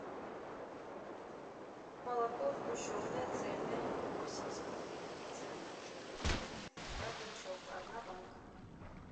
молоко сгущенное цельное восемь с половиной процентов жирности рогачев одна банка